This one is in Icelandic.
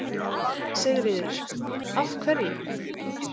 Sigríður: Af hverju?